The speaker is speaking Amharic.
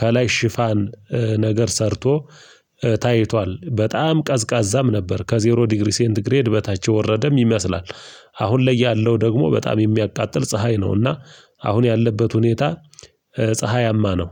ከላይ ሽፋን ነገር ሰርቶ ታይቷል። በጣም ቀዝቃዛም ነበር ከዜሮ ዲግሪ ሴንት ግሬድ በታች የወረደም ይመስላል። አሁን ላይ ያለው ደግሞ በጣም የሚያቃጥል ፀሀይ ነውና። አሁን ያለበት ሁኔታ ፀሀያማ ነው።